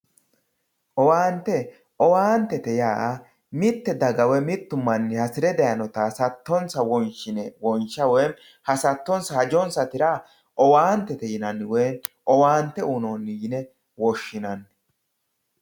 owaante owaantete yaa mittu manchi woyi mitte daga hasire dayiinota hasattonsa wonsha woy hajonsa tira owaantete yinanni woyi owaante uyiinoonni yine woshshinanni.